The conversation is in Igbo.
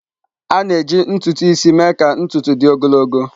A na-eji ntutu isi mee ka ntutu dị ogologo.